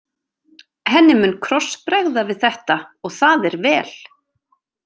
Henni mun krossbregða við þetta og það er vel.